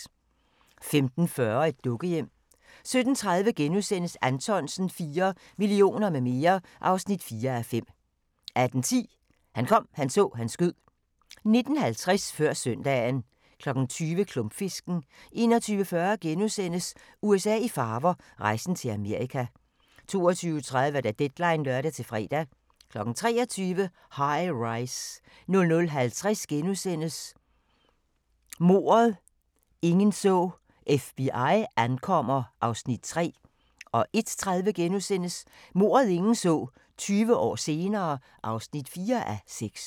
15:40: Et dukkehjem 17:30: Anthonsen IV – Millioner med mere (4:5)* 18:10: Han kom, han så, han skød 19:50: Før søndagen 20:00: Klumpfisken 21:40: USA i farver – rejsen til Amerika * 22:30: Deadline (lør-fre) 23:00: High-Rise 00:50: Mordet, ingen så: FBI ankommer (3:6)* 01:30: Mordet, ingen så: 20 år senere (4:6)*